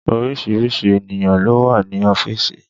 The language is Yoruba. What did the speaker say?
Orísìírísìí ènìyàn ló wà ní ọ́fíìsì